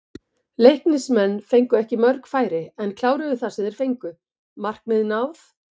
Leiknismenn fengu ekki mörg færi en kláruðu það sem þeir fengu, markmið náð?